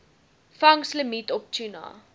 vangslimiet op tuna